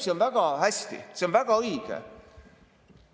See olevat väga hea, väga õige.